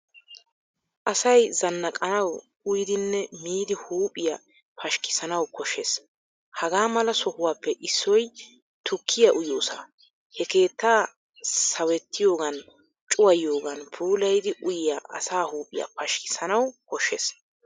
Asay zannaqanawu uyyidinne miidi huuphphiya pashikisanawu koshshees. Hagamala sohuwaappe issoy tukkiyaa uyiyoosa. He keettaa sawettiyogan cuwayiyoogan puulayiidi uuyiya asaa huuphphiyaa pashikasanawu koshshees.